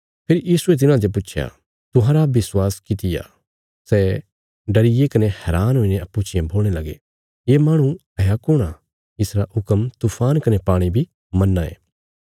फेरी यीशुये तिन्हाते पुच्छया तुहांरा विश्वास किति आ सै डरिये कने हैरान हुईने अप्पूँ चियें बोलणे लगे ये माहणु हाया कुण आ इसरा हुक्म तूफान कने पाणी बी मन्नां ये